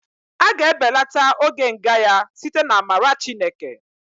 A ga-ebelata oge nga ya site n'amara Chineke